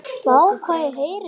Tóti þreif af honum tólið.